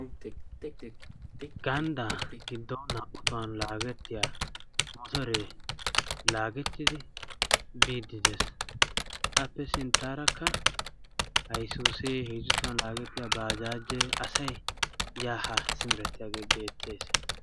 Ganddaa giddon naa"u tohuwan laagettiya motoree laagettidi biiddi des. Appe sinttaarakka haysuusee, heezu tohuwan laagettiya bajaajee, asay yaa haa simerettiyagee beettes.